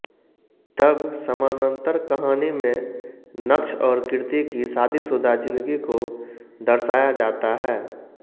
तब समानंतर कहानी मे नक्ष और कीर्ति की शादीशुदा जिन्दगी को दर्शाया जाता है